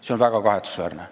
See on väga kahetsusväärne.